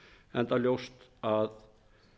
enda ljóst að